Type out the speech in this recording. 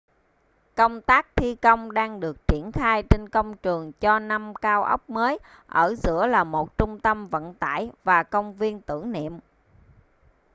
công tác thi công đang được triển khai trên công trường cho năm cao ốc mới ở giữa là một trung tâm vận tải và công viên tưởng niệm